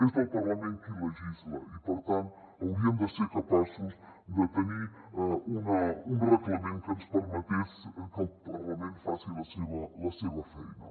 és el parlament qui legisla i per tant hauríem de ser capaços de tenir un reglament que ens permetés que el parlament faci la seva feina